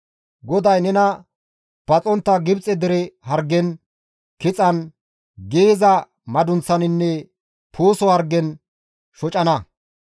GODAY nena paxontta Gibxe dere hargen, kixan, giiyiza madunththaninne puuso hargen shocanna.